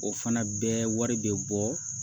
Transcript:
O fana bɛɛ wari bɛ bɔ